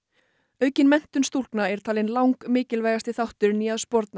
aukin menntun stúlkna er talin langmikilvægasti þátturinn í að sporna